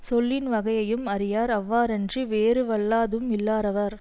சொல்லின் வகையும் அறியார் அவ்வாறன்றி வேறு வல்லதூஉம் இல்லாரவர்